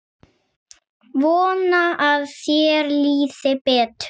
Vona að þér líði betur.